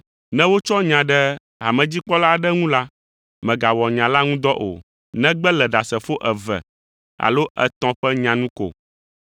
Ne wotsɔ nya ɖe hamedzikpɔla aɖe ŋu la, mègawɔ nya la ŋu dɔ o, negbe le ɖasefo eve alo etɔ̃ ƒe nya nu ko.